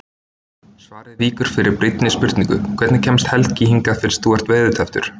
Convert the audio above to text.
Svarið víkur fyrir brýnni spurningu: Hvernig kemst Helgi hingað fyrst þú ert veðurtepptur?